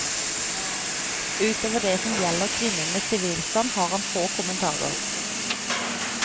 Utover det som gjelder kvinnenes sivilstand har han få kommentarer.